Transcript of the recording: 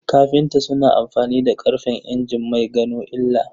Kafinta suna amfani da karfen injin mai gano illa